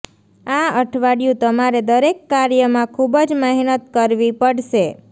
આ અઠવાડિયું તમારે દરેક કાર્ય માં ખુબ જ મહેનત કરવી પડશે